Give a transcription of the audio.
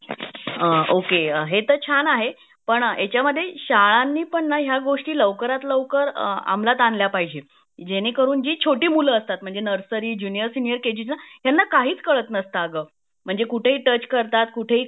अ okay हे तर छान आहे पण ह्याचमद्धे शालाणी पण ह्या गोष्टी लवकरात लवकर अमलात आणल्या पाहिजेत जेणेकरून जी छोटी मुलं असतात म्हणजे nursery junior senior K G च्या मुलांना काहीच काळात नसतं अग म्हणजे कुठे ही टच करतात कुठेही